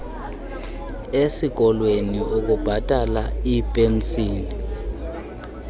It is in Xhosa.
ezikolweni ukubhatala iipenshini